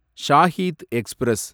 Shaheed express